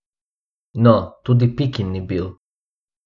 No, tudi Pikin ni bil.